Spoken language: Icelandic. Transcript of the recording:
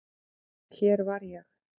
Já, hér var ég.